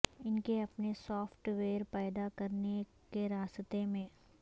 ان کے اپنے software پیدا کرنے کے راستے میں